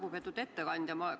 Lugupeetud ettekandja!